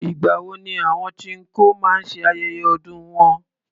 Ìgbà wo ni àwọn chinkó maá ṣe ayẹyẹ ọdún wọn?